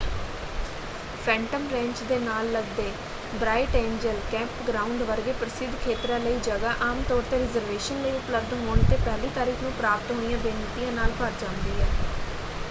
Phantom Ranch ਦੇ ਨਾਲ ਲਗਦੇ ਬ੍ਰਾਈਟ ਏਂਜਲ ਕੈਂਪਗ੍ਰਾਊਂਡ ਵਰਗੇ ਪ੍ਰਸਿੱਧ ਖੇਤਰਾਂ ਲਈ ਜਗ੍ਹਾ ਆਮਤੌਰ 'ਤੇ ਰਿਜ਼ਰਵੇਸ਼ਨ ਲਈ ਉਪਲਬਧ ਹੋਣ ‘ਤੇ ਪਹਿਲੀ ਤਾਰੀਖ ਨੂੰ ਪ੍ਰਾਪਤ ਹੋਈਆਂ ਬੇਨਤੀਆਂ ਨਾਲ ਭਰ ਜਾਂਦੀ ਹੈ।